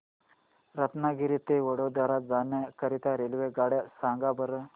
रत्नागिरी ते वडोदरा जाण्या करीता रेल्वेगाड्या सांगा बरं